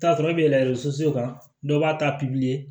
I bi t'a sɔrɔ i be yɛlɛ so kan dɔw b'a ta